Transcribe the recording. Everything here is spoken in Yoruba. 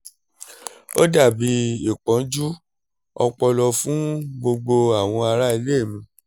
ó dà bí ìpọ́njú ọpọlọ fún gbogbo àwọn ará ilé mi